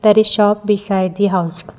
there is shop beside the house.